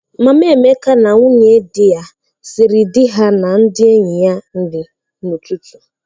Mama Emeka na nwunye di ya siri di ha na ndị enyi ya nri n'ụtụtụ.